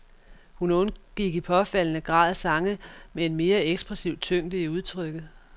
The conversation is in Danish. Hun undgik i påfaldende grad sange med en mere ekspressiv tyngde i udtrykket.